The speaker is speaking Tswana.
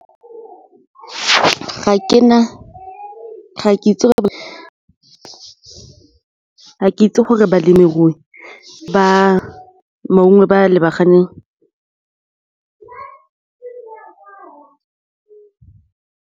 Ga ke itse gore balemirui ba lebaganeng.